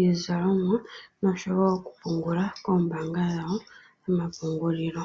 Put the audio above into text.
iizalomwa noshowo oku pungula koombaanga dhawo dhomapungulilo.